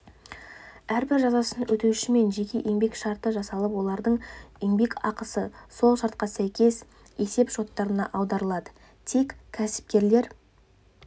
әрбір жазасын өтеушімен жеке еңбек шарты жасалып олардың еңбекақысы сол шартқа сәйкес есеп-шоттарына аударылады тек кәсіпкерлер